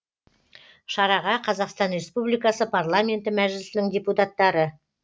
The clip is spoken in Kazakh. шараға қазақстан республикасы парламенті мәжілісінің депутаттары